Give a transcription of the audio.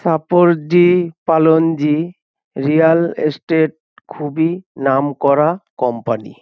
Shapoorji Pallonji real estate খুবই নামকরা company.